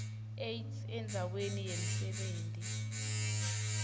aids endzaweni yemsebenti